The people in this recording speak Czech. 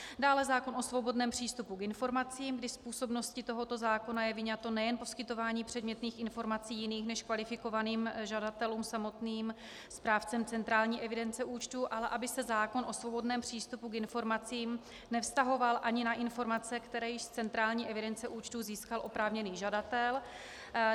Dále zákon o svobodném přístupu k informacím, kdy z působnosti tohoto zákona je vyňato nejen poskytování předmětných informací jiným než kvalifikovaným žadatelům samotným správcem centrální evidence účtů, ale aby se zákon o svobodném přístupu k informacím nevztahoval ani na informace, které již z centrální evidence účtů získal oprávněný žadatel.